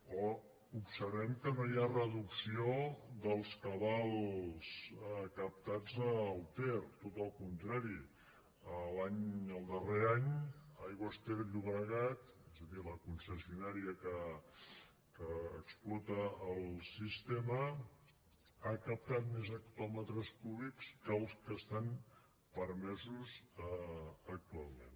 o observem que no hi ha reducció dels cabals captats al ter tot el contrari el darrer any aigües ter llobregat és a dir la concessionària que explota el sistema ha captat més hectòmetres cúbics que els que estan permesos actualment